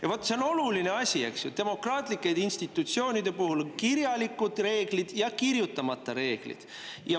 Ja vaat see on oluline asi, eks ju, demokraatlike institutsioonide puhul: kirjalikud reeglid ja kirjutamata reeglid.